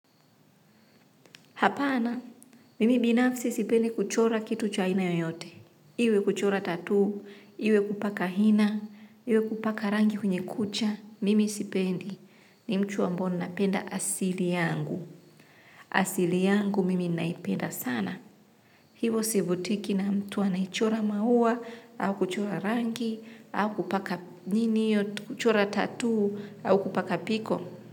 Hapana, mimi binafsi sipendi kuchora kitu cha aina yoyote. Iwe kuchora tattoo, iwe kupaka hina, iwe kupaka rangi kwenye kucha, mimi sipendi. Ni mtu ambao ninapenda asili yangu. Asili yangu mimi naipenda sana. Hivyo sivutiki na mtu anayechora maua, au kuchora rangi, au kupaka nini hiyo, kuchora tattoo, au kupaka piko.